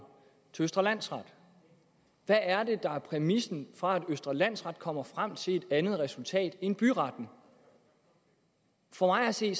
til østre landsret hvad er det der er præmissen for at østre landsret kommer frem til et andet resultat end byretten for mig at se